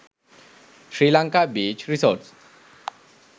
sri lanka beach resorts